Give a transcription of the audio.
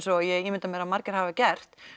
og ég ímynda mér að margir hafi gert